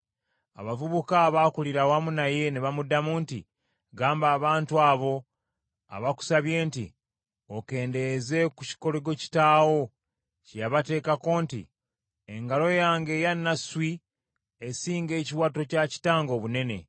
Abavubuka abaakulira awamu naye ne bamuddamu nti, “Gamba abantu abo abakusabye nti, ‘Okendeeze ku kikoligo kitaawo kye yabateekako nti, “Engalo yange eya nasswi esinga ekiwato kya kitange obunene.